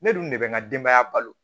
Ne dun ne bɛ n ka denbaya balo